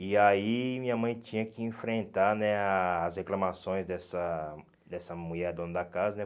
E aí minha mãe tinha que enfrentar né as reclamações dessa dessa mulher dona da casa, né?